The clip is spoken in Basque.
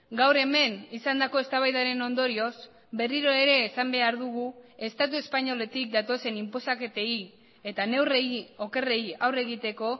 gaur hemen izandako eztabaidaren ondorioz berriro ere esan behar dugu estatu espainoletik datozen inposaketei eta neurriei okerrei aurre egiteko